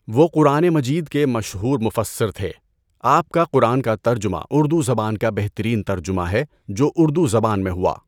وہ قرآن مجید کے مشہور مُفَسّر تهے۔ آپ کا قرآن کا ترجمہ اردو زبان کا بہترین ترجمہ ہے جو اردو زبان میں ہوا۔